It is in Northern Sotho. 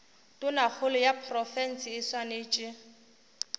tonakgolo ya profense e swanetše